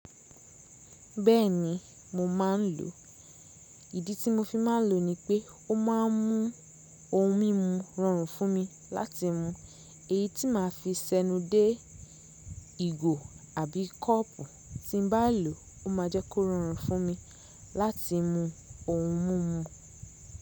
Bẹ́ẹ̀ni mo ma ń lo. Ìdí tí mo fi má ń lo ni pé ó ma ń mú ohun mímu rọrùn fún mi láti mu. Èyí tí ma fi sẹ́nu dé ìgò àbí kọ́ọ̀pù tí n bá lò ó ma jẹ́ kó rọrùn fún mi láti mu ohun mimu.